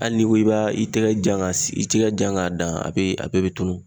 Ali n'i ko k'i b'a i tɛgɛ jan ka i tɛgɛ jan k'a si i tɛgɛ dan a bɛɛ a bɛɛ be tunun